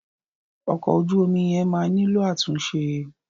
Ọkọ̀ ojú omi yẹn máa nílò àtúnṣe.